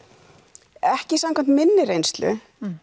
ekki samkvæmt minni reynslu